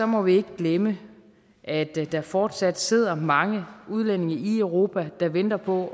må vi ikke glemme at der fortsat sidder mange udlændinge i europa der venter på